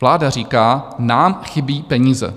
Vláda říká: Nám chybí peníze.